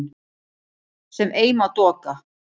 sem ei má doka